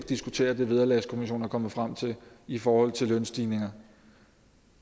diskutere det vederlagskommissionen er kommet frem til i forhold til lønstigninger